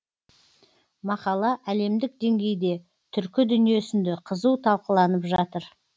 мақала әлемдік деңгейде түркі дүниесінде қызу талқыланып жатыр